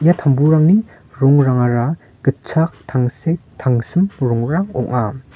ia tamburangni rongrangara gitchak tangsek tangsim rongrang ong·a.